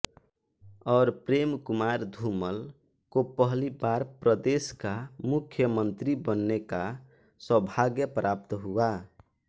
और प्रेम कुमार धूमल को पहली बार प्रदेश का मुख्यमंत्री बनने का सौभाग्य प्राप्त हुआ